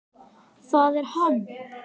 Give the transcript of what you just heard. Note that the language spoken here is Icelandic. ÞAÐ ER HANN!